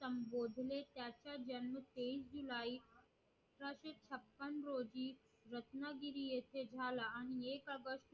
संभोधले त्यांचा जन्म तेवीस जुलइ अठराशे छप्पन रोजी रत्नागिरी येथे झाला आणि एक ऑगस्ट